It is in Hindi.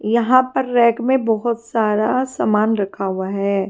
यहां पर रैक में बहुत सारा सामान रखा हुआ है।